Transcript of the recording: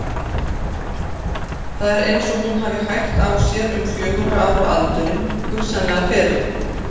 Það er eins og hún hafi hægt á sér um fjögurra ára aldurinn, hugsanlega fyrr.